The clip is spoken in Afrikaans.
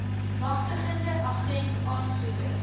magtigende agent aansoeker